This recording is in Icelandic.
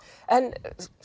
en